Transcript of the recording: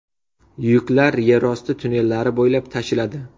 Yuklar yerosti tunnellari bo‘ylab tashiladi.